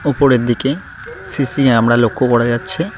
উপরের দিকে CC camera লক্ষ করা যাচ্ছে।